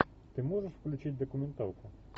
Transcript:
ты можешь включить документалку